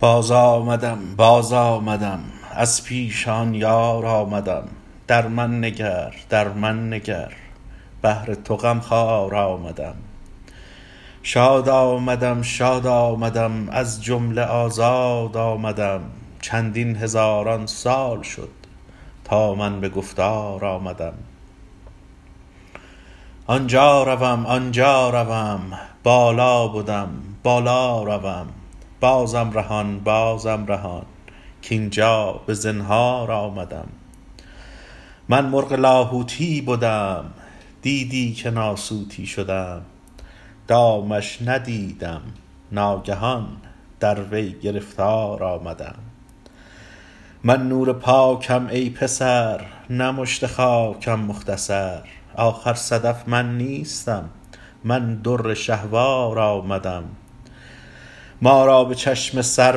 باز آمدم باز آمدم از پیش آن یار آمدم در من نگر در من نگر بهر تو غم خوار آمدم شاد آمدم شاد آمدم از جمله آزاد آمدم چندین هزاران سال شد تا من به گفتار آمدم آن جا روم آن جا روم بالا بدم بالا روم بازم رهان بازم رهان کاین جا به زنهار آمدم من مرغ لاهوتی بدم دیدی که ناسوتی شدم دامش ندیدم ناگهان در وی گرفتار آمدم من نور پاکم ای پسر نه مشت خاکم مختصر آخر صدف من نیستم من در شهوار آمدم ما را به چشم سر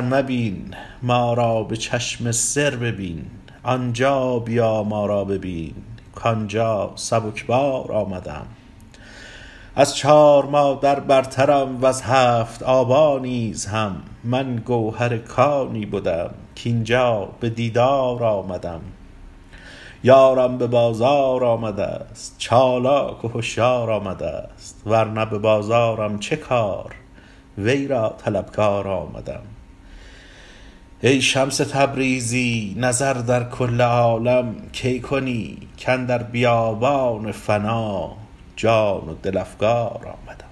مبین ما را به چشم سر ببین آن جا بیا ما را ببین کاین جا سبک بار آمدم از چار مادر برترم وز هفت آبا نیز هم من گوهر کانی بدم کاین جا به دیدار آمدم یارم به بازار آمده ست چالاک و هشیار آمده ست ور نه به بازارم چه کار وی را طلبکار آمدم ای شمس تبریزی نظر در کل عالم کی کنی کاندر بیابان فنا جان و دل افگار آمدم